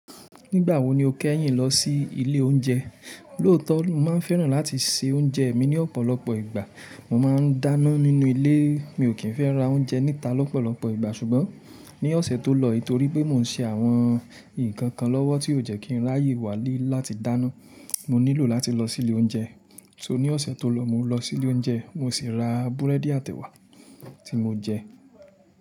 Nígbà wo ni o kẹ́yìn lọ sí ilé oúnjẹ? Lóòótọ́, mo máa ń fẹ́ràn láti se oúnjẹ mi ní ọ̀pọ̀lọpọ̀ ìgbà. Mo máa ń dáná nínú ilé, mi ò kí ń fẹ́ ra oúnjẹ níta lọ́pọ̀lọpọ̀ ìgbà. Ṣùgbọ́n ní ọ̀sẹ̀ tó lọ, nítorí pé mò ń ṣe àwọn ìkankan lọ́wọ́ tí ò jẹ́ kí n ráàyè wálé láti dáná, mo nílò láti lọ sí ilé oúnjẹ. So ní ọ̀sẹ̀ tó lọ, mo lọ sí ilé oúnjẹ, mo sì ra búrẹ́dì àti ẹwà tí mo jẹ.